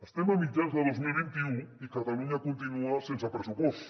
estem a mitjans de dos mil vint u i catalunya continua sense pressupost